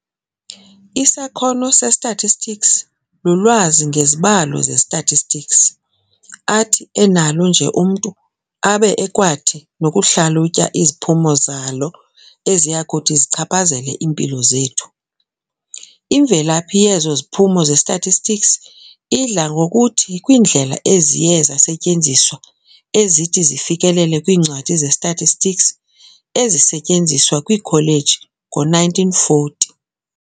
"Isakhono se-statistics lulwazi ngezibalo ze-statistics, athi enalo nje umntu, abe ekwathi nokuhlalutya iziphumo zalo eziyakuthi zichaphazele iimpilo zethu. Imvelaphi yezo ziphumo ze-statistics, idla ngokuthi kwiindlela eziye zasetyenziswa ezithi zifikelele kwiincwadi ze-statistics ezisetyenziswa kwiikholeji ngo-1940.